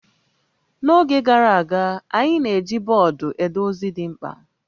N'oge gara aga, anyị na-eji bọọdụ ede ozi dị mkpa